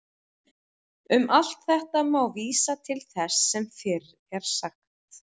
Um allt þetta má vísa til þess sem fyrr er sagt.